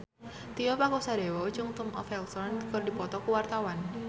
Tio Pakusadewo jeung Tom Felton keur dipoto ku wartawan